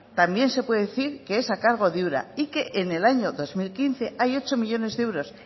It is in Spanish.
también se puede decir que es a cargo de ura y que en el año dos mil quince hay ocho millónes de euros